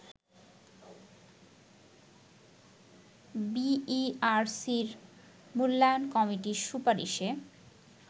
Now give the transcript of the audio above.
বিইআরসির মূল্যায়ন কমিটির সুপারিশে